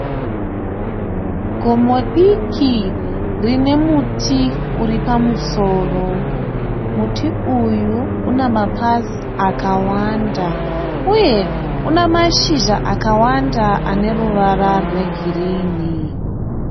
Gomo diki rine muti uri pamusoro. Muti uyu une mapazi akawanda uye une mashizha akawanda ane ruvara rwegirinhi.